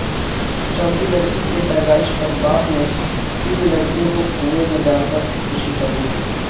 چوتھی لڑکی کی پیدائش پر باپ نے تین لڑکیوں کو کنویں میں ڈالکر خودکشی کرلی